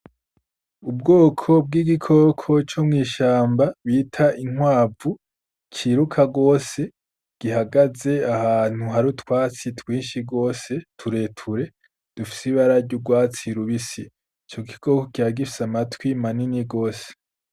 Ubwoko bw'igikoko co mw'ishamba bita inkwavu ciruka gose, gihagaze ahantu hari utwatsi twinshi gose tureture dufise ibara ry’urwatsi rubisi. Ico gikoko kikaba gifise amatwi manini gose.